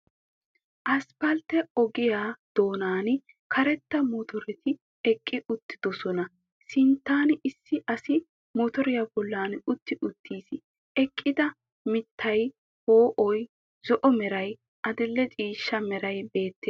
Asppaltte ogiya doonaani karetta motoreti eqqi uttiddossona. Sinttan issi asi motoriya bollan utti uttiis. Eqqida mittay, po'oy, zo"o meray, adil"e ciishsha meray beettees.